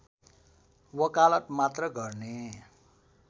वकालत मात्र गर्ने